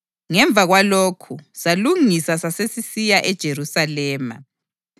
Ngemva kwalokhu, salungisa sasesisiya eJerusalema.